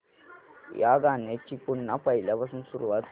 या गाण्या ची पुन्हा पहिल्यापासून सुरुवात कर